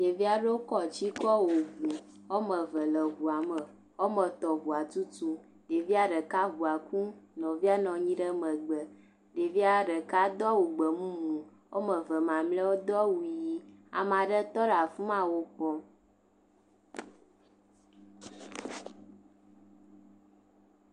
Ɖevi aɖewo kɔ tsi kɔ wɔ ŋu. Woa me tɔ̃ le ŋua me. Woame tɔ̃ le ŋua tutum. Ɖevi ɖeka ŋua kum. Nɔvia nɔ anyi ɖe megbe. Ɖevia ɖeka do awu gbemumu. Woame ve mamlɛawo do awu ʋi. ama ɖe tɔ ɖe afi ma nu kpɔm.